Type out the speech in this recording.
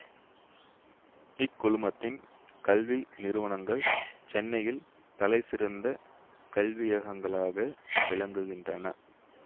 இக்குழுமத்தின் கல்வி நிறுவனங்கள் சென்னையின் தலைசிறந்த கல்வியகங்களாக விளங்குகின்றன